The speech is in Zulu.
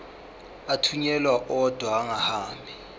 athunyelwa odwa angahambi